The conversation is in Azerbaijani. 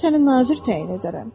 Mən səni nazir təyin edərəm.